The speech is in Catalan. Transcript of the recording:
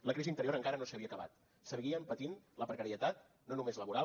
la crisi anterior encara no s’havia acabat seguien patint la precarietat no només laboral